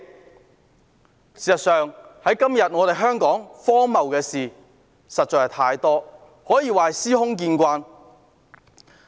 事實上，香港今天荒謬的事情實在太多，可以說是私空見慣。